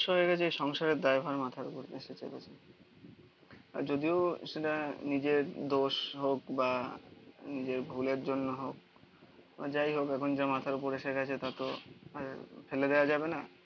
হয়ে গেছে সংসারের দায়ভার মাথার উপর এসে চেপেছে আর যদিও সেটা নিজের দোষ হোক বা নিজের ভুলের জন্য হোক যাই হোক এখন যা মাথার ওপর এসে গেছে তত আর ফেলে দেওয়া যাবে না.